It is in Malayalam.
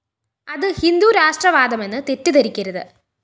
അത് ഹിന്ദു രാഷ്ട്രവാദമെന്ന് തെറ്റിദ്ധരിക്കരുത്